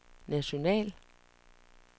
national